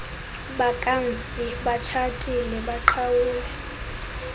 bakamfi batshatile baqhawule